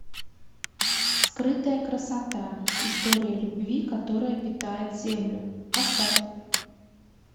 скрытая красота история любви которая питает землю поставь